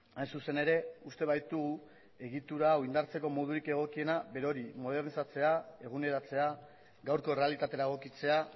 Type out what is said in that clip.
hain zuzen ere uste baitu egitura hau indartzeko modurik egokiena berori modernizatzea eguneratzea gaurko errealitatera egokitzea